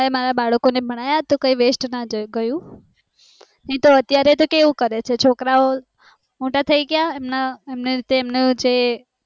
મેં મારા બાળકોને ભણાવ્યા ને એ waste ના ગયું નીતો અત્યારે કેવું કરે છે છોકરાઓ મોટા થાય ગયા એમના એમને જે છે એ